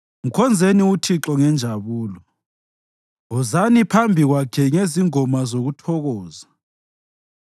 Mkhonzeni uThixo ngenjabulo; wozani phambi Kwakhe ngezingoma zokuthokoza.